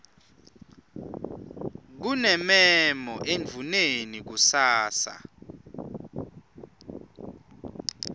kunemmemo endvuneni kusasa